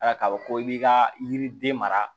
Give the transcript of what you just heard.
Ala k'a fɔ ko i b'i ka yiriden mara